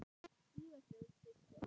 Írunn systir.